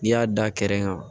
N'i y'a da kɛrɛ kan